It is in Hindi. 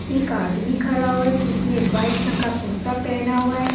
एक आदमी खड़ा हुआ है जिसने व्हाइट रंग का कुर्ता पहना हुआ है।